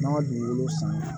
N'an ma dugukolo san